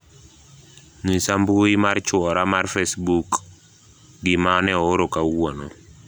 nyisa mbui mar chuora mar facebook gima ne ooro kawuono